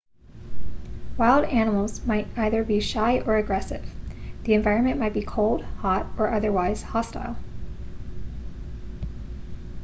wild animals might either be shy or aggressive the environment might be cold hot or otherwise hostile